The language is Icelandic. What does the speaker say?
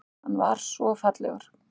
Hann var svo fallegur.